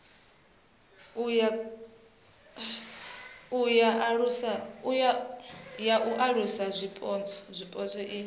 ya u alusa zwipotso i